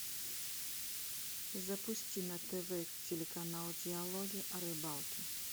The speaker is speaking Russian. запусти на тв телеканал диалоги о рыбалке